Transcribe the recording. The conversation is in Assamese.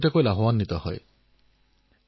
আৰু এটা উদাহৰণ তামিলনাডু থেনি জিলাত আমি পাও